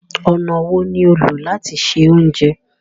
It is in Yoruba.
Ọnà wo ni o ń lọ lati ṣẹ ọ̀unjẹ?